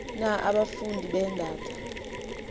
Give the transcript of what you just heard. na abafundi beendata